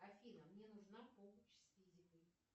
афина мне нужна помощь с физикой